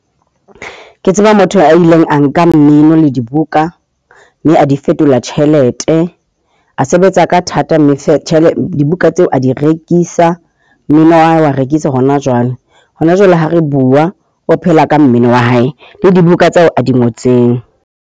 Ke tseba motho a ileng a nka mmino le dibuka mme a di fetola tjhelete. A sebetsa ka thata. Mme dibuka tseo a di rekisa. Mmino wa hae o a rekisa hona jwale. Hona jwale ha re bua o phela ka mmino wa hae, le dibuka tseo a di ngotseng.